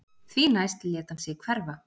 Því næst lét hann sig hverfa